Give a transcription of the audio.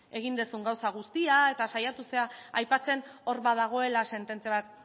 egin duzun gauza guztia eta saiatu zara aipatzen hor badagoela sententzia bat